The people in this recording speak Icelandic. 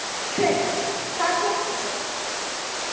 Hrund: Hvað keyptuð þið?